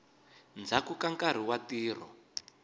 ndzhaku ka nkarhi wa ntirho